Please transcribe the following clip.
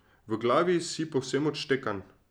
V glavi si povsem odštekan.